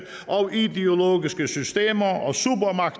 og ideologiske systemer